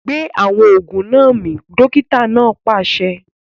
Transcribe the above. Gbé awọn oògùn náà mì! dókítà náà pàṣẹ